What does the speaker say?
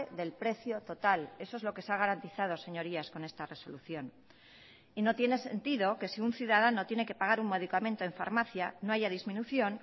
del precio total eso es lo que se ha garantizado señorías con esta resolución y no tiene sentido que si un ciudadano tiene que pagar un medicamento en farmacia no haya disminución